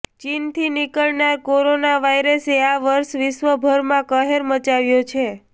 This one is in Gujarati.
ચીનથી નિકળનાર કોરોના વાયરસે આ વર્ષે વિશ્વભરમાં કહેર મચાવ્યો છે